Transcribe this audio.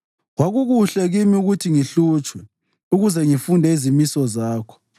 Kwakukuhle kimi ukuthi ngihlutshwe ukuze ngifunde izimiso zakho.